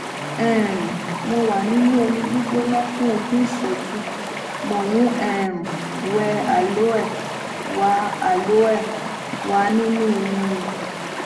um mo wà nínú omi gbígbóná fún ogún ìṣẹjú mo ń um wẹ aloe wà aloe wà nínú irun mi